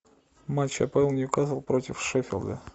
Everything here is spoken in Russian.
матч апл ньюкасл против шеффилда